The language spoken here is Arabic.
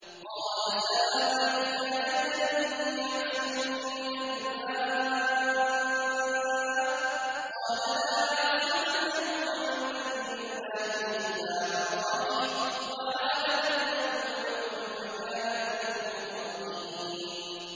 قَالَ سَآوِي إِلَىٰ جَبَلٍ يَعْصِمُنِي مِنَ الْمَاءِ ۚ قَالَ لَا عَاصِمَ الْيَوْمَ مِنْ أَمْرِ اللَّهِ إِلَّا مَن رَّحِمَ ۚ وَحَالَ بَيْنَهُمَا الْمَوْجُ فَكَانَ مِنَ الْمُغْرَقِينَ